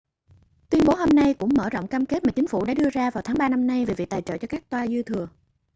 tuyên bố hôm nay cũng mở rộng cam kết mà chính phủ đã đưa ra vào tháng ba năm nay về việc tài trợ cho các toa dư thừa